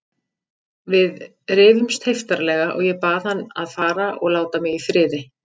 Við rifumst heiftarlega og ég bað hann að fara og láta mig í friði.